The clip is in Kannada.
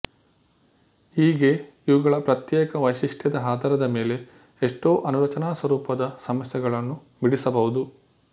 ಹೀಗೆ ಇವುಗಳ ಪ್ರತ್ಯೇಕ ವೈಶಿಷ್ಟ್ಯದ ಆಧಾರದ ಮೇಲೆ ಎಷ್ಟೊ ಅಣುರಚನಾಸ್ವರೂಪದ ಸಮಸ್ಯೆಗಳನ್ನು ಬಿಡಿಸಬಹುದು